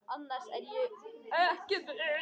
Annars er ég ekki viss.